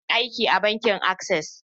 Ina aiki a bankin Access.